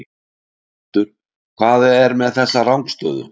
Hvað er með þessa rangstöðu?